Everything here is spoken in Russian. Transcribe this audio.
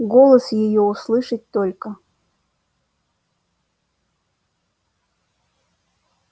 голос её услышать только